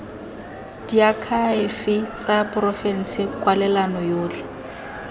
diakhaefe tsa porofense kwalelano yotlhe